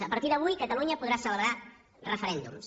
a partir d’avui catalunya podrà celebrar referèndums